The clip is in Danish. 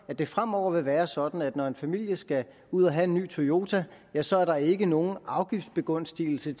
at det fremover vil være sådan at når en familie skal ud at have en ny toyota så er der ikke nogen afgiftsbegunstigelse